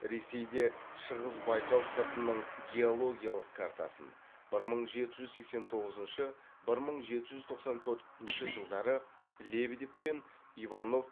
ресейде шығыс байқал сыртының геологиялық картасын бір мың жеті жүз сексен тоғызыншы бір мың жеті жүз тоқсан төртінші жылдары лебедев пен иванов